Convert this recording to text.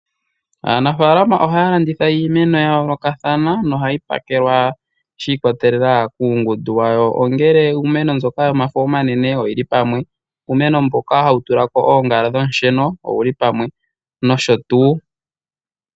Aanafalama ohaya landitha iimeno ya yoolokathana nohayi pakelwa shi ikwatelela kuungundu wawo, ongele iimeno mboka yomafo omanene oyi li pamwe, uumeno mboka hawu tula ko oongala dhoosheno owu li pamwe nosho tuu.